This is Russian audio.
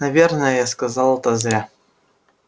наверное я сказал это зря